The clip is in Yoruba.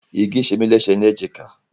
Igí ṣemí léṣe ní èjìká.